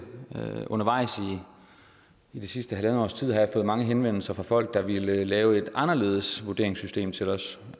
undervejs i det sidste halvandet års tid har jeg fået mange henvendelser fra folk der ville lave et anderledes vurderingssystem til os